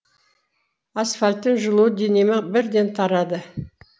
асфальттың жылуы денеме бірден тарады